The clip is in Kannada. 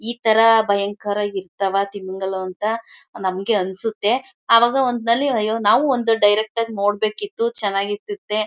ಈ ತರ ಭಯಂಕರ ಇರ್ತಾವ ತಿಮಿಂಗಿಲ ಅಂತ ನಮಗೆ ಅನಿಸುತ್ತೆ ಅವಾಗ ಒಂದು ಸಲಿ ಅಯ್ಯೋ ನಾವು ಒಂದು ಡೈರೆಕ್ಟ್ ಆಗಿ ನೋಡ್ ಬೇಕಿತ್ತು ಚೆನ್ನಾಗಿರ್ತಿತ್ತೇ.